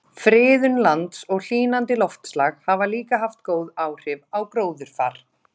Friðun lands og hlýnandi loftslag hafa líka haft góð áhrif á gróðurfar.